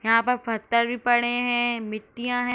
यहाँ पर पत्थर भी पड़े हैंमिट्टियाँ हैं।